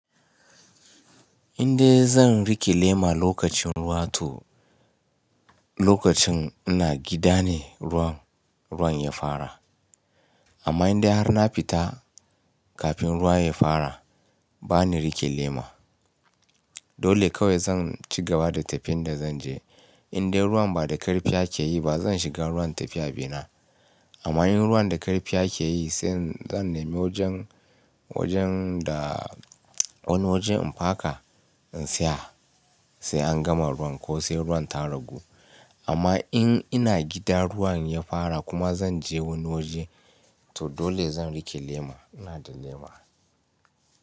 Indai zan rike lema lokacin ruwa to, lokacin ina gida ne ruwan, ruwan ya fara. Amma indai har na fita kafin ruwa ya fara ba ni rike lema. Dole kawai zan ci gaba da tafin da zan je. Indai ruwan ba da karfi ake yi ba zan shiga ruwan in tafi abina. Amma in ruwan da karfi ake yi sai zan nemi wajen, wajen da wani wajen in paka in tsaya sai an gama ruwan ko sai ruwan ta ragu. Amma in ina gida ruwan ya fara kuma zan je wani waje to dole zan rike lema. Ina da lema.